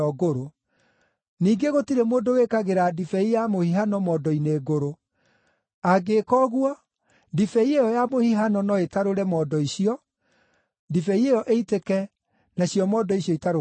Ningĩ gũtirĩ mũndũ wĩkagĩra ndibei ya mũhihano mondo-inĩ ngũrũ. Angĩka ũguo, ndibei ĩyo ya mũhihano no ĩtarũre mondo icio, ndibei ĩyo ĩitĩke, nacio mondo icio itarũkange.